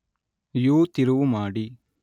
ಯು-ತಿರುವು ಮಾಡಿ